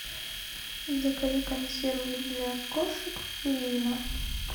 закажи консервы для кошек пурина